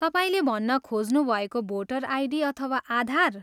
तपाईँले भन्न खोज्नुभएको भोडर आइडी अथवा आधार?